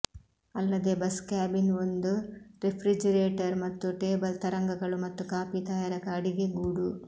ಅಲ್ಲದೆ bus cabin ಒಂದು refrigerator ಮತ್ತು ಟೇಬಲ್ ತರಂಗಗಳು ಮತ್ತು ಕಾಫಿ ತಯಾರಕ ಅಡಿಗೆಗೂಡು